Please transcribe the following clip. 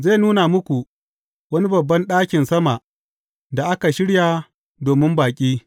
Zai nuna muku wani babban ɗakin sama da aka shirya domin baƙi.